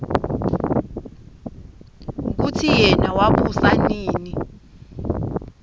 kutsi yena wabusa nini